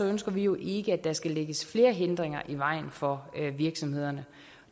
ønsker vi jo ikke at der skal lægges flere hindringer i vejen for virksomhederne